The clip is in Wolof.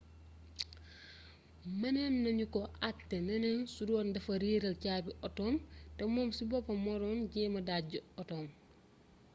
mënoon nañu ko àttee neneen su doon dafa réeral caabi otoom te moom ci boppam moo doon jéem dàjji otoom